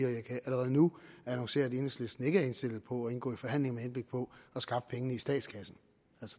og jeg kan allerede nu annoncere at enhedslisten ikke er indstillet på at indgå i forhandlinger med henblik på at skaffe pengene i statskassen